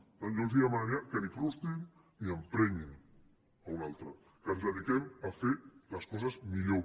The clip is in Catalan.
per tant jo els demanaria que ni frustrin ni emprenyin un altre que ens dediquem a fer les coses millor